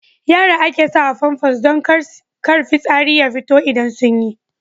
Yara ake sawa Famfas don kar fitsari ya fito idan sun yi.